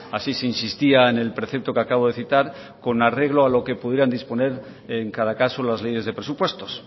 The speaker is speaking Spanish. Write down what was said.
así se insistía en el precepto que acabo de citar con arreglo a lo que pudieran disponer en cada caso las leyes de presupuestos